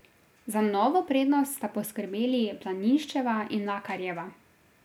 Za novo prednost sta poskrbeli Planinščeva in Mlakarjeva.